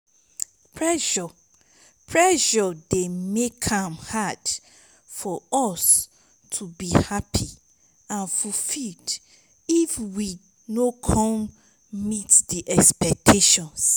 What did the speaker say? pressure pressure dey make am hard for us to be happy and fulfilled if we no come meet di expectations.